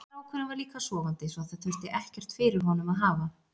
Strákurinn var líka sofandi svo það þurfti ekkert fyrir honum að hafa.